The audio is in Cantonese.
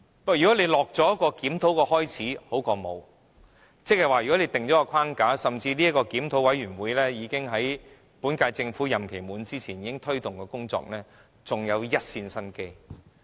但是，開始進行檢討，總比甚麼也沒有好，即是如果訂下框架，甚至這個檢討委員會在本屆政府任期完結前已經開始推動工作，還有一線生機。